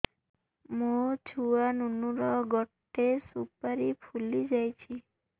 ମୋ ଛୁଆ ନୁନୁ ର ଗଟେ ସୁପାରୀ ଫୁଲି ଯାଇଛି